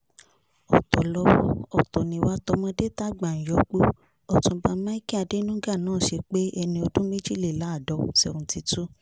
ọ̀tọ̀ lọ́wọ́ ọ̀tọ̀ nìwà tọmọdé-tágbà ń yọ̀gbò ọ̀túnba michael adenuga nọ́ ṣe pé ẹni ọdún méjìléláàdọ̀ 72